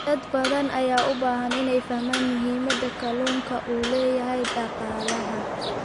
Dad badan ayaa u baahan inay fahmaan muhiimadda kalluunka u leeyahay dhaqaalaha.